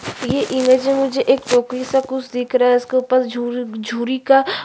ये इमेज में मुझे एक टोकरी सा कुछ दिख रहा है उसके ऊपर झूर झूरी का --